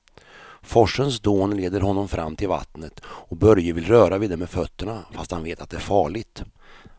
Forsens dån leder honom fram till vattnet och Börje vill röra vid det med fötterna, fast han vet att det är farligt.